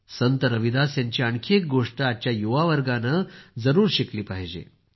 संत रविदास यांची आणखी एक गोष्ट आजच्या युवावर्गानं जरूर शिकली पाहिजे